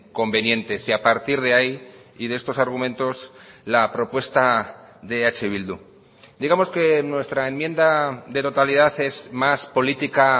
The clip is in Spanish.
convenientes y a partir de ahí y de estos argumentos la propuesta de eh bildu digamos que nuestra enmienda de totalidad es más política